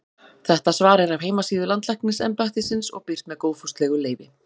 Þetta svar er af heimasíðu Landlæknisembættisins og birt með góðfúslegu leyfi.